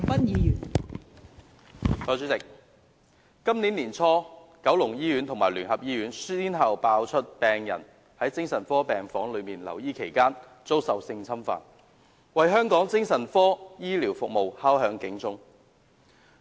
代理主席，今年年初，九龍醫院和聯合醫院先後遭揭發曾發生病人在精神科病房留醫期間遭受性侵犯的事件，為香港精神科醫療服務敲響警鐘。